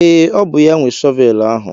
Ee, ọ bụ ya nwe shọvelu ahụ.